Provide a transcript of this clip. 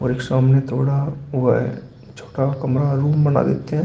सामने थोड़ा हुआ है छोटा कमरा रूम बना देते हैं।